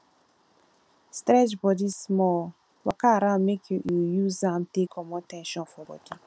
stretch bodi small waka around mek yu use am take comot ten sion for bodi